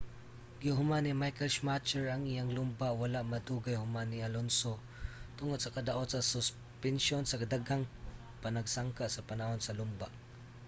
gihuman ni michael schumacher ang iyang lumba wala madugay human ni alonso tungod sa kadaot sa suspensyon sa daghang panagsangka sa panahon sa lumba